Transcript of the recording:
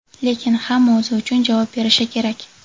Lekin hamma o‘zi uchun javob berishi kerak.